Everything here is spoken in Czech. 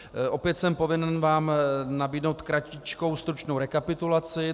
Opět jsem povinen vám nabídnout kratičkou stručnou rekapitulaci.